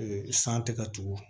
san tɛ ka tugu